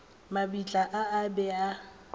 mabitla a a be a